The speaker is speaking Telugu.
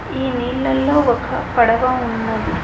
ఈ నీళ్లలో ఒక పడవ ఉన్నది.